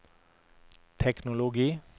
teknologi